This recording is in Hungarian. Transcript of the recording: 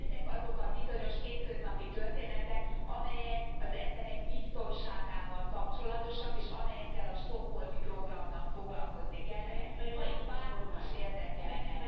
Mert ezek azok a bizonyos hétköznapi történetek, amelyek az emberek biztonságával kapcsolatosak, és amelyekkel a Stockholmi Programnak foglalkozni kellene ha ez itt bárkit is érdekelne.